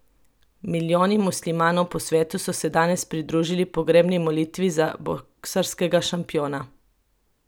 Milijoni muslimanov po svetu so se danes pridružili pogrebni molitvi za boksarskega šampiona.